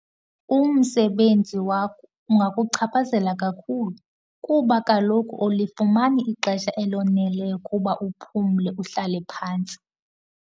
Umsebenzi wakho ungakuchaphazela kakhulu kuba kaloku awulifumani ixesha eloneleyo ukuba uphumle, uhlale phantsi.